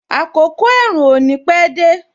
Àkọ́kọ́ ẹ̀rùn ò ní pẹ dé